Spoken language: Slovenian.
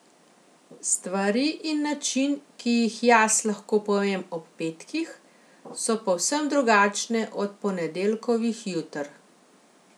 Stvari in način, ki jih jaz lahko povem ob petkih, so povsem drugačne od ponedeljkovih juter.